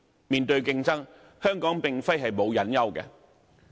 面對競爭，香港並非沒有隱憂。